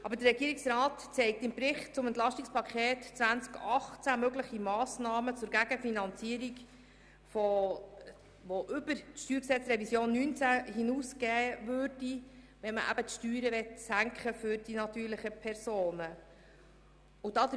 Aber der Regierungsrat zeigt im Bericht zum EP 2018 mögliche Massnahmen zur Gegenfinanzierung auf, die über die StG-Revision 2019 hinausgehen würden, für den Fall, dass man die Steuern für die natürlichen Personen senken wollte.